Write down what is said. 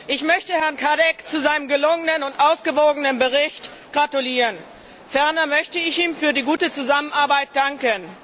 Ich möchte Herrn Cadec zu seinem gelungenen und ausgewogenen Bericht gratulieren. Ferner möchte ich ihm für die gute Zusammenarbeit danken.